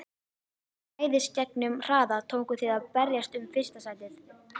Með æðisgengnum hraða tókuð þið að berjast um fyrsta sætið.